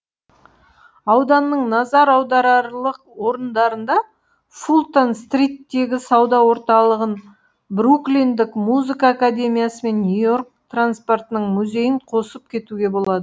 ауданның назар аударарлық орындарына фултон стриттегі сауда орталығын бруклиндік музыка академиясы мен нью йорк транспортының музейін қосып кетуге болады